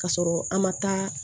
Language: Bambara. K'a sɔrɔ an ma taa